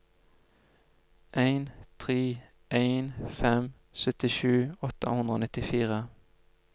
en tre en fem syttisju åtte hundre og nittifire